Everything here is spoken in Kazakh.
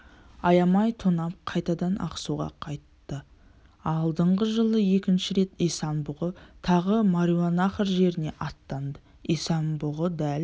аямай тонап қайтадан ақсуға қайтты алдыңғы жылы екінші рет исан-бұғы тағы мауреннахр жеріне аттанды исан-бұғы дәл